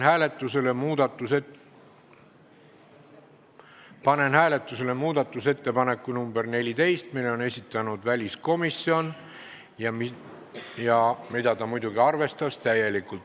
Austatud Riigikogu, panen hääletusele muudatusettepaneku nr 14, mille on esitanud väliskomisjon ja mida ta muidugi täielikult arvestas.